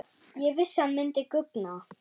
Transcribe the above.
Ég vissi hann myndi guggna!